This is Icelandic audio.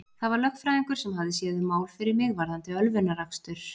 Það var lögfræðingur sem hafði séð um mál fyrir mig varðandi ölvunarakstur.